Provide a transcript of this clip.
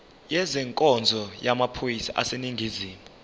ezenkonzo yamaphoyisa aseningizimu